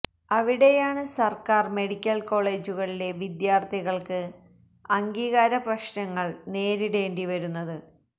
അവിടെയാണ് സർക്കാർ മെഡിക്കൽ കോളേജുകളിലെ വിദ്യാർത്ഥികൾക്ക് അംഗീകാര പ്രശ്നങ്ങൾ നേരിടേണ്ടി വരുന്നത്